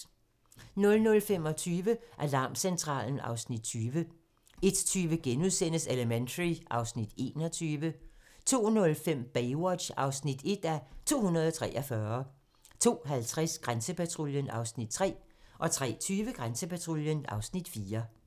00:25: Alarmcentralen (Afs. 20) 01:20: Elementary (Afs. 21)* 02:05: Baywatch (1:243) 02:50: Grænsepatruljen (Afs. 3) 03:20: Grænsepatruljen (Afs. 4)